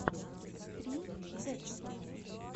стрим декстера